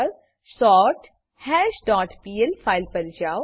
પર સોર્થશ dot PL file પર જાઓ